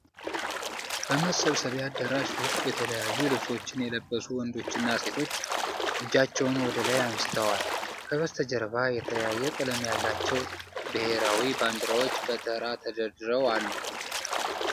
በመሰብሰቢያ አዳራሽ ውስጥ የተለያዩ ልብሶችን የለበሱ ወንዶችና ሴቶች እጃቸውን ወደ ላይ አንስተዋል። ከበስተጀርባ የተለያየ ቀለም ያላቸው ብሔራዊ ባንዲራዎች በተራ ተደርድረው አሉ።